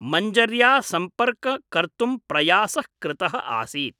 मञ्जर्या सम्पर्क कर्तुं प्रयासः कृतः आसीत् ।